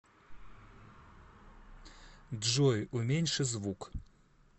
джой уменьши звук